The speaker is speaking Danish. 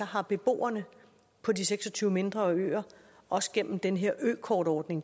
har beboerne på de seks og tyve mindre øer også gennem den her økortordning